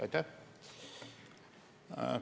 Aitäh!